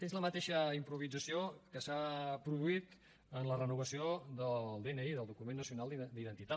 és la mateixa improvisació que s’ha produït en la renovació del dni del document nacional d’identitat